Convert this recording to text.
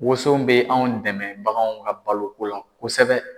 Woson bɛ anw dɛmɛ baganw ka baloko la kosɛbɛ.